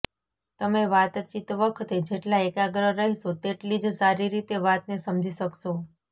તમે વાતચીત વખતે જેટલા એકાગ્ર રહેશો તેટલી જ સારી રીતે વાતને સમજી શકશો